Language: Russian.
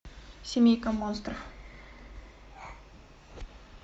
семейка монстров